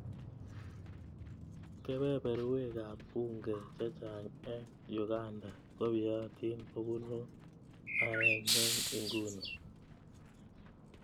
Kepeperwek ap bunge chechang' eng' Uganda kopyeatin kopun aeng' eng' inguni.